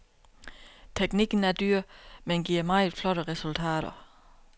Teknikken er dyr, men giver meget flotte resultater.